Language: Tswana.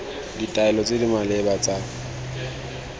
ditaelo tse di maleba tsa